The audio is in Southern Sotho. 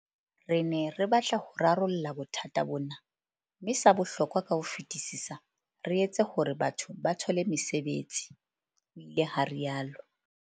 "Re ne re batla ho rarolla bothata bona, mme sa bohlokwa ka ho fetisisa, re etse hore batho ba thole mesebetsi," ho ile ha rialo